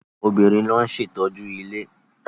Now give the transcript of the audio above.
Obìnrin ló ń ṣe ìtọ́jú ilé.